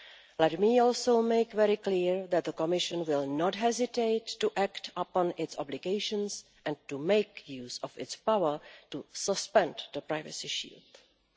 Let me also make it very clear that the Commission will not hesitate to act upon its obligations and to make use of its power to suspend the Privacy Shield.